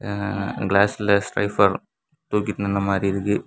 அ கிளாஸ்ல பைபர் தூக்கிட்டு இர்ந்த மாதிரி இருக்கு.